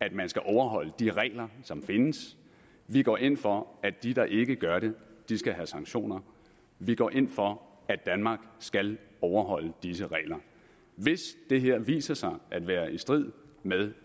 at man skal overholde de regler som findes vi går ind for at de der ikke gør det skal have sanktioner vi går ind for at danmark skal overholde disse regler hvis det her viser sig at være i strid med